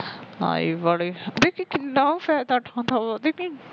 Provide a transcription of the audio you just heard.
ਆਈ ਬੜੀ ਦੇਖੀ ਕਿੰਨਾ ਫਾਇਦਾ ਉਠਾਉਦਾ